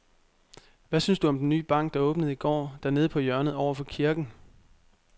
Hvad synes du om den nye bank, der åbnede i går dernede på hjørnet over for kirken?